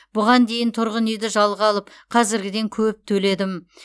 бұған дейін тұрғын үйді жалға алып қазіргіден көп төледім